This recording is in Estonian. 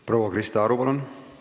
Proua Krista Aru, palun!